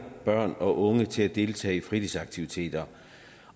børn og unge til at deltage i fritidsaktiviteter